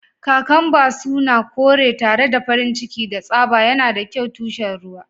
Kakamba suna kore tare da farin ciki da tsaba, yana da kyau tushen ruwa.